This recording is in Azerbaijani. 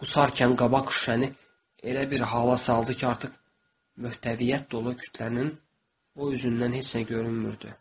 Qusarkan qabaq küçəni elə bir hava saldı ki, artıq möhtəviyyət dolu kütlənin o üzündən heç nə görünmürdü.